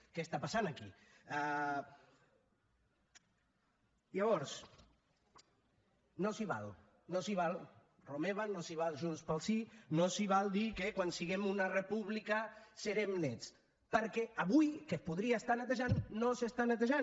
què està passant aquí llavors no s’hi val no s’hi val romeva no s’hi val junts pel sí no s’hi val dir que quan siguem una república serem nets perquè avui que es podria estar netejant no s’està netejant